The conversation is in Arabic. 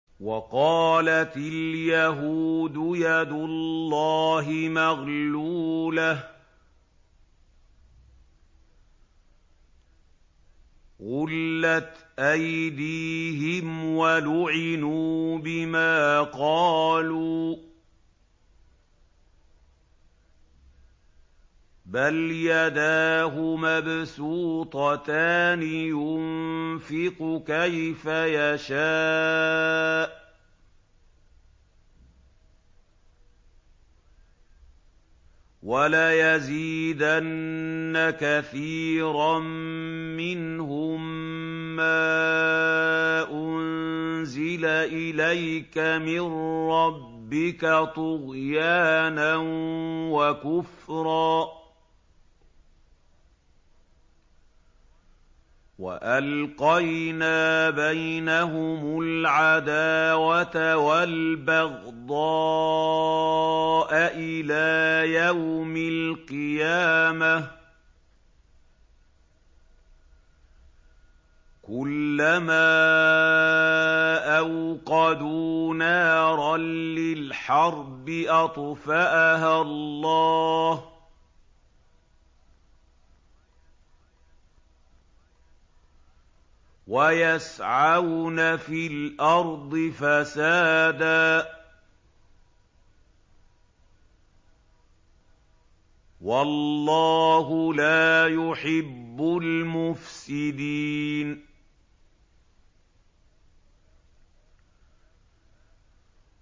وَقَالَتِ الْيَهُودُ يَدُ اللَّهِ مَغْلُولَةٌ ۚ غُلَّتْ أَيْدِيهِمْ وَلُعِنُوا بِمَا قَالُوا ۘ بَلْ يَدَاهُ مَبْسُوطَتَانِ يُنفِقُ كَيْفَ يَشَاءُ ۚ وَلَيَزِيدَنَّ كَثِيرًا مِّنْهُم مَّا أُنزِلَ إِلَيْكَ مِن رَّبِّكَ طُغْيَانًا وَكُفْرًا ۚ وَأَلْقَيْنَا بَيْنَهُمُ الْعَدَاوَةَ وَالْبَغْضَاءَ إِلَىٰ يَوْمِ الْقِيَامَةِ ۚ كُلَّمَا أَوْقَدُوا نَارًا لِّلْحَرْبِ أَطْفَأَهَا اللَّهُ ۚ وَيَسْعَوْنَ فِي الْأَرْضِ فَسَادًا ۚ وَاللَّهُ لَا يُحِبُّ الْمُفْسِدِينَ